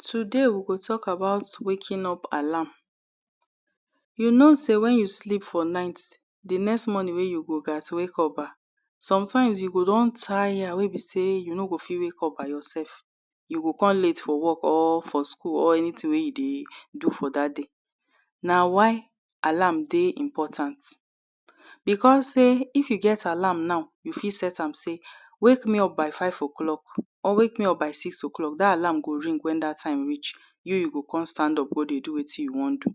Today we go tok about "waking up alarm" You know sey wen you sleep for night, di next morning wey you go gat wake up Sometimes you go don tire wey be sey you no go fit wake up by yourself You go con late for work or for school or anything wey you dey do for dat day Na why alarm dey important Becos sey if you get alarm now you fit set am sey "wake me up by five o clock or wake me up by six o clock". Dat alarm go ring wen dat time reach You you go come stand up go dey do wetin you wan do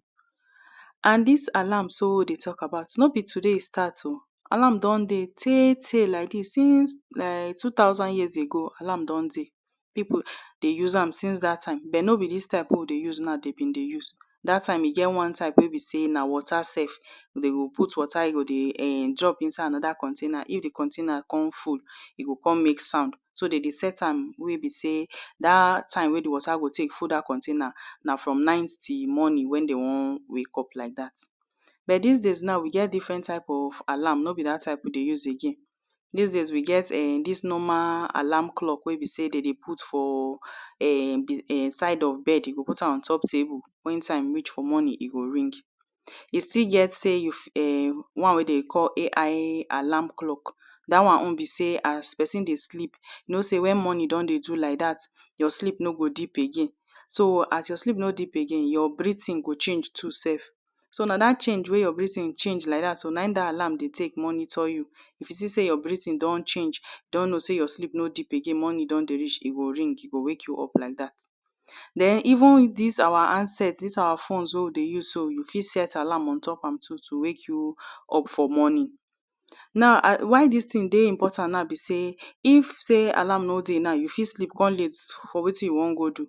And dis alarm so wey we de tok about, no be today e start o Alarm don de tey tey like dis since um two thousand years ago, alarm don de Pipu dey use am since dat time but no be dis type wey we dey use now de bin de use Dat time e get dat type wey be sey na water sef De go put water e go dey um drop inside container. If di container con full E go come make sound, so dem de set am wey be sey dat time wey di water go take full dat container Na from night till morning wen de wan wake up like dat but dis days now we get different types of alarm. No be dat type we dey use again Dis days we get um dis normal alarm clock wey be sey de de put for um um side of bed, you go put am on top table, wen time reach for morning e go ring E still get sey one wey dem call "AI alarm clock" Dat one own be sey as pesin dey sleep, you know sey wen morning don dey do like dat your sleep no go deep again So, as your sleep no deep again, your breathing go change too sef So na dat change wey your breathing change like dat so na im dat alarm dey take monitor you If you see sey your breathing don change You don know sey your sleep no deep again, morning don dey reach, e go ring, e go wake you up like dat Then, even dis our handset, dis our phones wey we dey use so, we fit set alarm on top am too to wake you up for morning. Now ah why dis tin dey important now be sey if sey alarm no dey now you fit sleep come late for wetin you wan go do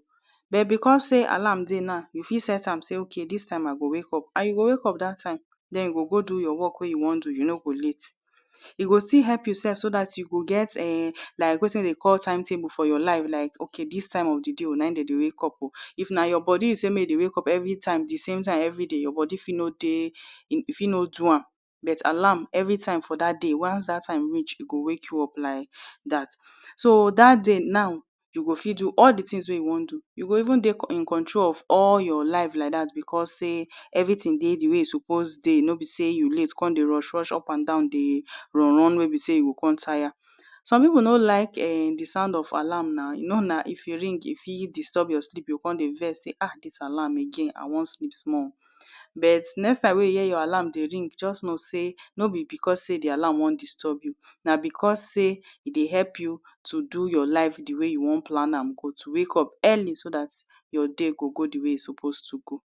But becos sey alarm de now, you fit set am sey ok dis time i go wake up, and you go wake up dat time then you go go do your work wey you wan do, you no go late E go still help you sef so dat you go get um like wetin dem dey call time table for your life like ok dis time of di day na im dem de wake up If na your bodi you sey make e dey wake up everytime di same time everyday, your bodi fit no de e fit no do am, but alarm everytime for dat day, once dat time reach e go wake you up like dat. So dat day now, you go fit do all di tins wey you wan do You go even dey in control of all your life like dat becos sey everything dey di way e suppose dey, no be sey you late, come dey rush up and down dey run run wey be sey you go come tire Some pipu no like um di sound of alarm. you know now if e ring e fit disturb your sleep you go come dey vex say: Ah Dis alarm again, I wan sleep small But, next time wey you hear your alarm dey ring just know sey no be becos di alarm wan disturb you Na becos sey e dey help you to do your life di way you wan plan am good, to wake up early so dat your day go go di way e suppose to go